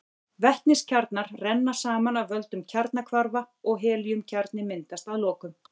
Vetniskjarnar renna saman af völdum kjarnahvarfa og helíumkjarni myndast að lokum.